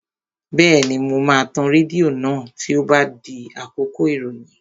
Bẹ́ẹ̀ni, mo máa tan rédíò náà tí ó bá di àkókò ìròyìn